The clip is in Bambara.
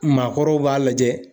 Maakɔrɔw b'a lajɛ.